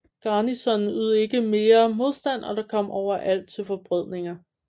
Garnisonen ydede ikke mere modstand og der kom overalt til forbrødringer